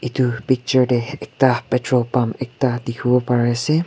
itu picture dey ekta petrol pump ekta dikhi wo pari ase.